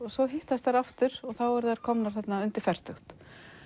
svo hittast þær aftur og eru þá komnar undir fertugt